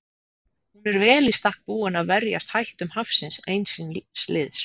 Hún er vel í stakk búin að verjast hættum hafsins eins síns liðs.